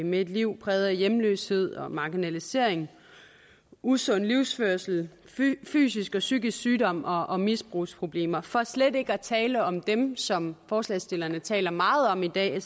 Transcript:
med et liv præget af hjemløshed og marginalisering usund livsførelse fysisk og psykisk sygdom og og misbrugsproblemer for slet ikke at tale om dem som forslagsstillerne taler meget om i dag